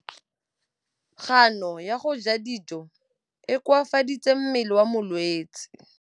Kganô ya go ja dijo e koafaditse mmele wa molwetse.